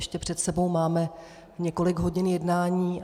Ještě před sebou máme několik hodin jednání.